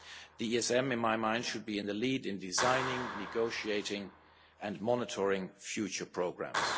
The ESM, in my mind, should be in the lead in designing, negotiating and monitoring future programmes.